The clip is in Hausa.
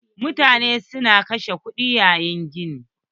Mutane su na kashe kuɗi yayin gini.